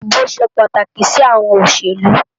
Idibó ṣé pàtáki si áwòn ólóṣélú